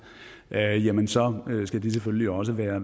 jamen så skal de selvfølgelig også være